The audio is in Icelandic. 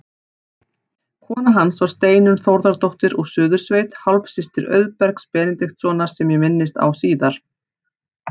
Kona hans var Steinunn Þórðardóttir úr Suðursveit, hálfsystir Auðbergs Benediktssonar sem ég minnist á síðar.